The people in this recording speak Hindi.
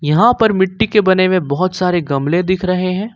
यहां पर मिट्टी के बने हुए बहोत सारे गमले दिख रहे हैं।